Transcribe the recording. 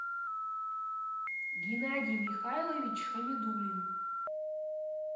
геннадий михайлович хамидулин